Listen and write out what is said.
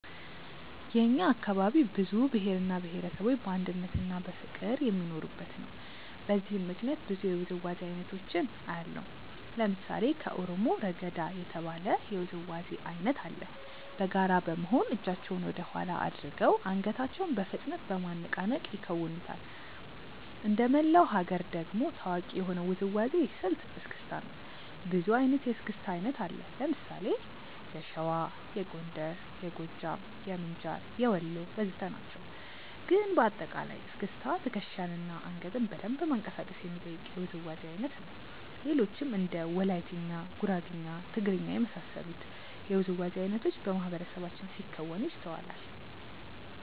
የእኛ አካባቢ ብዙ ብሄር እና ብሄረሰቦች በአንድነትና በፍቅር የሚኖሩበት ነው። በዚህም ምክንያት ብዙ የውዝዋዜ አይነቶችን አያለሁ። ለምሳሌ ከኦሮሞ "ረገዳ" የተባለ የውዝዋዜ አይነት አለ። በጋራ በመሆን እጃቸውን ወደኋላ አድርገው አንገታቸውን በፍጥነት በማነቃነቅ ይከውኑታል። እንደመላው ሀገር ደግሞ ታዋቂ የሆነው የውዝዋዜ ስልት "እስክስታ" ነው። ብዙ አይነት የእስክስታ አይነት አለ። ለምሳሌ የሸዋ፣ የጎንደር፣ የጎጃም፣ የምንጃር፣ የወሎ ወዘተ ናቸው። ግን በአጠቃላይ እስክስታ ትከሻን እና አንገትን በደንብ ማንቀሳቀስ የሚጠይቅ የውዝዋዜ አይነት ነው። ሌሎችም እንደ ወላይትኛ፣ ጉራግኛ፣ ትግርኛ እና የመሳሰሉት የውዝዋዜ አይነቶች በማህበረሰባችን ሲከወኑ ይስተዋላል።